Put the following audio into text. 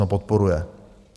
Ano, podporuje.